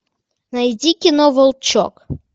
найди кино волчок